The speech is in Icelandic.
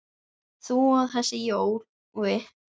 þú og þessi Jói?